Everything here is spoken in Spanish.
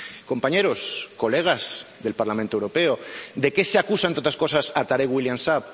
Compañeros, colegas del Parlamento Europeo, ¿de qué se acusa, entre otras cosas, a Tarek William Saab?